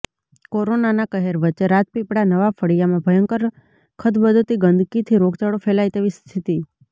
corona કહેર વચ્ચે રાજપીપળા નવા ફળીયામાં ભયંકર ખદબદતી ગંદકીથી રોગચાળો ફેલાઇ તેવી સ્થિતિ